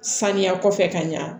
Saniya kɔfɛ ka ɲa